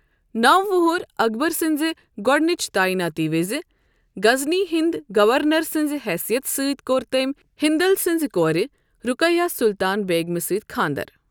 نَو وُہُر اکبر سٕنٛز گۄڈنٕچ تعیِناتی وزِ، غزنی ہنٛد گورنر سنٛز حیثیت سۭتۍ کوٚر تٔمۍ ہندل سنٛز کورِ رقیہ سلطان بیگمِہ سۭتۍ خانٛدر۔